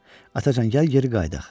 Atacan, gəl geri qayıdaq.